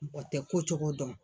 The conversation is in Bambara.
Mɔgɔ tɛ kocogo dɔn.